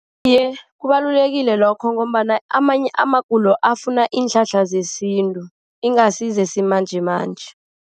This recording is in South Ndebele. Iye, kubalulekile lokho ngombana amanye amagulo afuna iinhlahla zesintu. Ingasi zesimanjemanje.